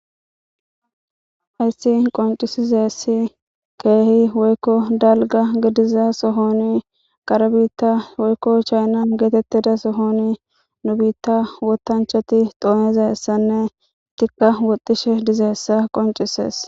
hayssi qoncisizeessi keehi woykko dalga gidiza sohoni qare biitta woykko chayna geetettida sohoni nu biitta wotanchati doonezaessanne tikka woxishe dizeessa qoncisees